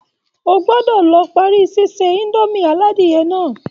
O gbọ́dọ̀ lọ parí síse indomie aládìyẹ náà